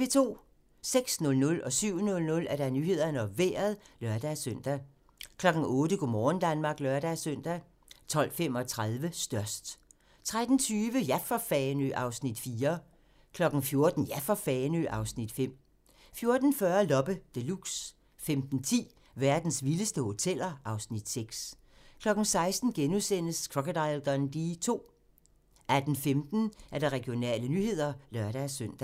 06:00: Nyhederne og Vejret (lør-søn) 07:00: Nyhederne og Vejret (lør-søn) 08:00: Go' morgen Danmark (lør-søn) 12:35: Størst 13:20: Ja for Fanø! (Afs. 4) 14:00: Ja for Fanø! (Afs. 5) 14:40: Loppe Deluxe 15:10: Verdens vildeste hoteller (Afs. 6) 16:00: Crocodile Dundee II * 18:15: Regionale nyheder (lør-søn)